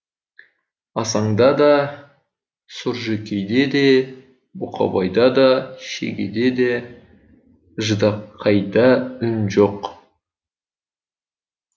асаңда да сұржекейде де бұқабайда да шегеде де ждақайда үн жоқ